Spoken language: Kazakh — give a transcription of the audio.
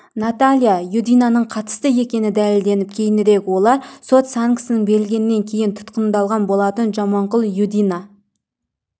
наталья юдинаның қатысты екені дәлелденіп кейінірек олар сот санкциясы берілгеннен кейін тұтқындалған болатын жаманқұлов юдина